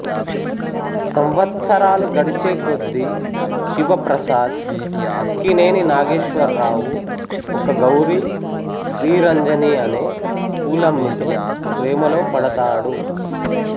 సంవత్సరాలు గడిచేకొద్దీ శివ ప్రసాద్ అక్కినేని నాగేశ్వరరావు ఒక గౌరి శ్రీరంజని అనే పూలమ్మితో ప్రేమలో పడతాడు